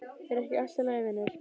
Er ekki allt í lagi vinur?